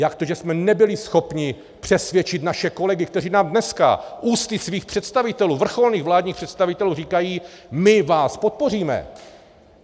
Jak to, že jsme nebyli schopni přesvědčit naše kolegy, kteří nám dneska ústy svých představitelů, vrcholných vládních představitelů, říkají "my vás podpoříme"?